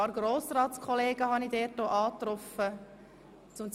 Ich begegnete auch ein paar Kollegen aus dem Grossen Rat.